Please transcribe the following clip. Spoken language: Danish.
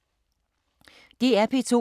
DR P2